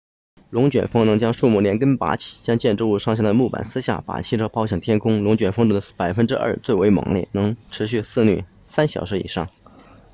龙卷风能将树木连根拔起将建筑物上的木板撕下把汽车抛向天空龙卷风中的百分之二最为猛烈能持续肆虐三小时以上